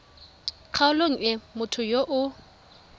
kgaolong e motho yo o